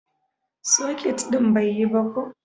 soket din bai yi ba ko